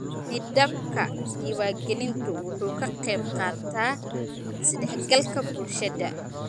Nidaamka diiwaangelintu wuxuu ka qaybqaataa isdhexgalka bulshada.